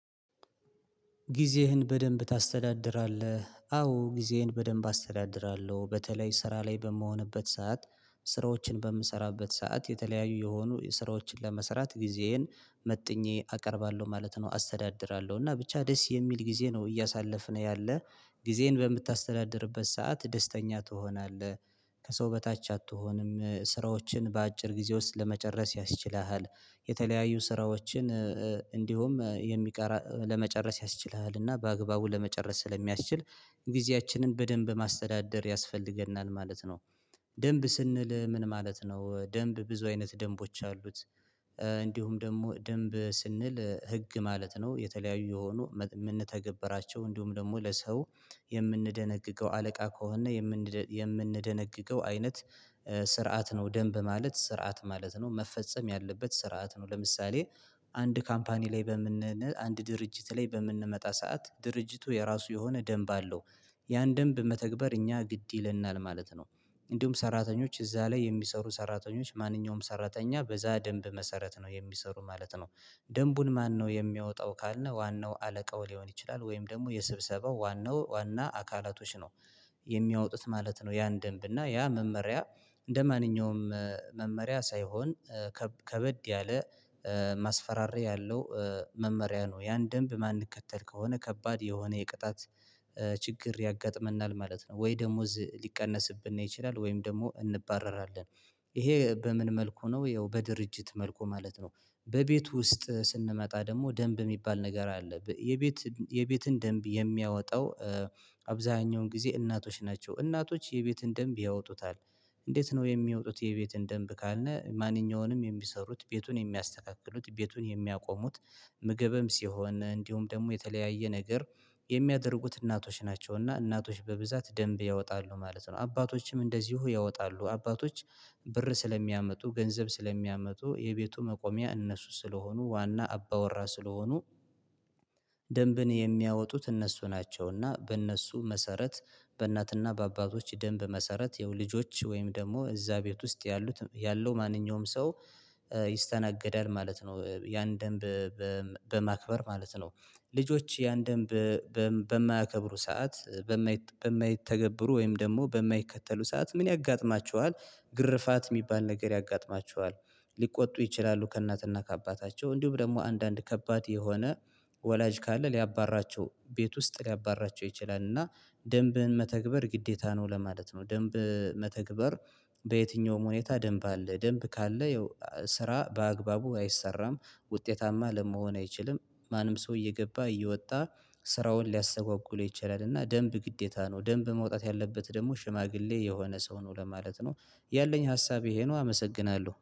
ጊዜህን በደንብ ታስተዳድራለህ? አዎ ጊዜህን በደንብ አስተዳድራለሁ በተለይ ስራ ላይ በምሆንበት ሰዓት ስራዎችን በምሰራበት ሰዓት የተለያዩ የሆኑ ስራዎችን ለመሰራት ጊዜዬን መጥኜ አቀርባለሁ ማለት ነው አስተዳድራለሁ እና ብቻ ደስ የሚል ጊዜ ነው እያሳለፍነ ያለ ጊዜን በምታስተዳድርበት ሰዓት ደስተኛ ትሆናለህ። ከሰው በታች አትሆንም ስራዎችን በአጭር ጊዜ ውስጥ ለመጨረስ ያስችልሃል የተለያዩ ስራዎችን እንዲሁም የሚቀር ለመጨረስ ያስችላልና በአግባቡ ለመጨረስ ስለሚያስችል ጊዜያችንን በደንብ ማስተዳደር ያስፈልገናል ማለት ነው። ደንብ ስንል ምን ማለት ነው ደንብ ብዙ አይነት ደንቦች አሉት? እንዲሁም ደግሞ ደንብ ስንል ህግ ማለት ነው። የተለያዩ የሆኑ የምንተገበራቸው እንዲሁም ደግሞ ለሰው የምንደነግገው አለቃ ከሆነ የምንደነግገው አይነት ስርዓት ነው ደንብ ማለት ስርዓት ማለት ነው መፈጸም ያለበት ስርዓት ነው። ለምሳሌ አንድ ካምፓኒ ላይ በምን አንድ ድርጅት ላይ በምንመጣ ሰዓት ድርጅቱ የራሱ የሆነ ደንብ አለው። ያን ደንብ መተግበር እኛ ግድ ይለናል ማለት ነው። እንዲሁም ሰራተኞች እዛ ላይ የሚሰሩ ሰራተኞች ማንኛውም ሰራተኛ በዛ ደንብ መሰረት ነው የሚሰሩ ማለት ነው። ደንቡን ማነው የሚያወጣው ካልነው ዋናው አለቃው ሊሆን ይችላል? ወይም ደግሞ የስብሰባው ዋናው ዋና አካላቶች ነው የሚያወጡት ማለት ነው። ያን ደንብ እና ያ መመሪያ እንደማንኛውም መመሪያ ሳይሆን ከበድ ያለ ማስፈራሪያ ያለው መመሪያ ነው። ያን ደንብ ማንከተል ከሆነ ከባድ የሆነ የቅጣት ችግር ያጋጥመናል ማለት ነው። ወይ ደሞዝ ሊቀነስብን ይችላል ወይም ደግሞ እንባረራለን ይሄ በምን መልኩ ነው? ያው በድርጅት መልኩ ማለት ነው። በቤት ውስጥ ስንመጣ ደግሞ ደንብ የሚባል ነገር አለ የቤት የቤትን ደንብ የሚያወጣው አብዛኛውን ጊዜ እናቶች ናቸው እናቶች የቤትን ደንብ ያወጡታል። እንዴት ነው የሚወጡት? የቤትን ደንብ ካልነህ ማንኛውንም የሚሰሩት ቤቱን የሚያስተካክሉት ቤቱን የሚያቆሙት ምግብም ሲሆን እንዲሁም ደግሞ የተለያየ ነገር የሚያደርጉት እናቶች ናቸው እና እናቶች በብዛት ደንብ ያወጣሉ ማለት ነው። አባቶችም እንደዚሁ ያወጣሉ አባቶች ብር ስለሚያመጡ ገንዘብ ስለሚያመጡ የቤቱ መቆሚያ እነሱ ስለሆኑ ዋና አባወራ ስለሆኑ ደንብን የሚያወጡት እነሱ ናቸውና። በእነሱ መሰረት በእናትና በአባቶች ደንብ መሰረት የው ልጆች ወይም ደግሞ እዛ ቤት ውስጥ ያሉት ያለው ማንኛውም ሰው ይስተናገዳል ማለት ነው። ያን ደንብ በማክበር ማለት ነው ልጆች ያን ደንብ በማያከብሩ ሰዓት በማይተገብሩ ወይም ደግሞ በማይከተሉ ሰዓት ምን ያጋጥማቸዋል? ግርፋት የሚባል ነገር ያጋጥማቸዋል። ሊቆጡ ይችላሉ ከእናትና ከአባታቸው እንዲሁም ደግሞ አንዳንድ ከባድ የሆነ ወላጅ ካለ ሊያባርራቸው ቤት ውስጥ ሊያባርራቸው ይችላል። እና ደንብን መተግበር ግዴታ ነው ለማለት ነው። ደንብ መተግበር በየትኛውም ሁኔታ ደንብ አለ ደንብ ካለ ያው ስራ በአግባቡ አይሰራም ውጤታማ ለመሆን አይችልም። ማንም ሰው እየገባ እየወጣ ስራውን ሊያሰጓጉለው ይችላል። እና ደንብ ግዴታ ነው ደንብ መውጣት ያለበት ደግሞ ሽማግሌ የሆነ ሰው ነው ለማለት ነው። ያለኝ ሀሳብ ይሄ ነው። አመሰግናለሁ